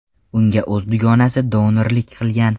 Unga o‘z dugonasi donorlik qilgan.